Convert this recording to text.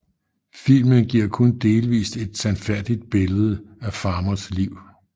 Filmen giver kun delvist et sandfærdigt billede af Farmers liv